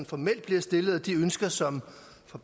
formelt bliver stillet og de ønsker som